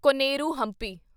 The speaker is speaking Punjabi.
ਕੋਨੇਰੂ ਹੰਪੀ